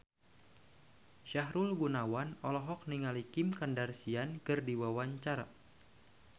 Sahrul Gunawan olohok ningali Kim Kardashian keur diwawancara